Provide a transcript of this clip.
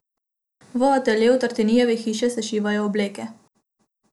V ateljeju Tartinijeve hiše se šivajo obleke.